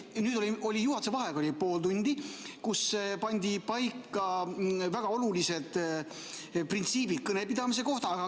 Nüüd oli juhatuse vaheaeg pool tundi, kus pandi paika väga olulised printsiibid kõnepidamise kohta.